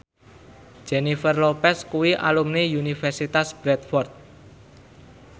Jennifer Lopez kuwi alumni Universitas Bradford